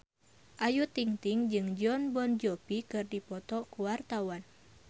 Ayu Ting-ting jeung Jon Bon Jovi keur dipoto ku wartawan